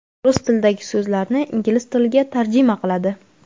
rus tilidagi so‘zlarni ingliz tiliga tarjima qiladi.